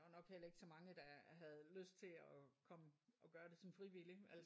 Ja der var nok heller ikke så mange der havde lyst til at komme og gøre det som frivillig altså